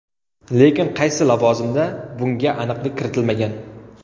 Lekin qaysi lavozimda bunga aniqlik kiritilmagan.